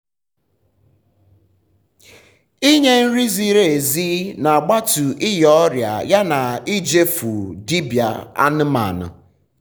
ỉnye nri ziri ezi um n’agbatu ịnya ọria ya na ịje fụ um dibia anụmanụ